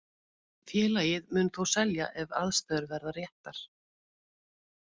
Félagið mun þó selja ef aðstæður verða réttar.